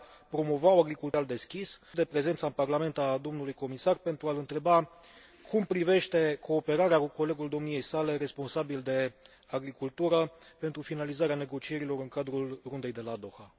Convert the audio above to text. profit de prezența în Parlament a domnului comisar pentru a l întreba cum privește cooperarea cu colegul domniei sale responsabil de agricultură pentru finalizarea negocierilor în cadrul Rundei de la Doha